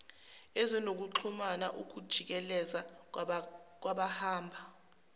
ezinokuxhumana ukujikeleza kwabahamba